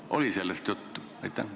Kas oli sellest juttu?